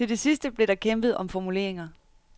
Til det sidste blev der kæmpet om formuleringer.